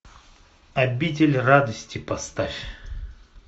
обитель радости поставь